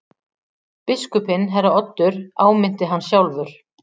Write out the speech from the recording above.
Biskupinn herra Oddur áminnti hann sjálfur.